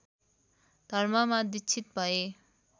धर्ममा दीक्षित भए